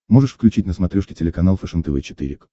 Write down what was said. можешь включить на смотрешке телеканал фэшен тв четыре к